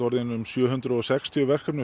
orðin um sjö hundruð og sextíu verkefni